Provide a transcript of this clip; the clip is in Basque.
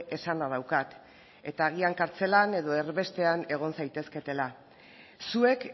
esana daukat eta agian kartzelan edo erbestean egon zaitezketela zuek